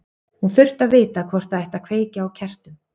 Hún þurfti að vita hvort það ætti að kveikja á kertum.